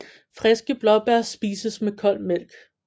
Friske blåbær spises med kold mælk